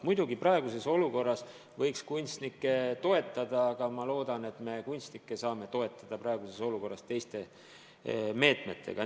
Muidugi, praeguses olukorras võiks kunstnikke toetada, aga ma loodan, et me saame seda praeguses olukorras teha teiste meetmetega.